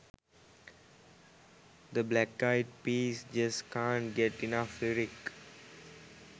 the black eyed peas just cant get enough lyric